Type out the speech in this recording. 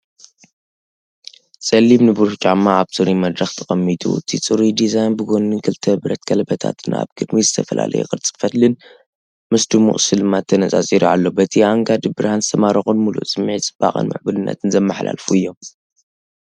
ጸሊም ንብሩህ ጫማ ኣብ ጽሩይ መድረኽ ተቐሚጡ፣ እቲ ጽሩይ ዲዛይን ብጎኒ ክልተ ብረት ቀለቤታትን ኣብ ቅድሚት ዝተፈላለየ ቅርጺ ፈትልን ምስ ድሙቕ ስልማት ተነጻጺሩ ኣሎ። በቲ ኣአንጋዲ ብርሃን ዝተማረኹን ምሉእ ስምዒት ጽባቐን ምዕቡልነትን ዘመሓላልፉ እዮም።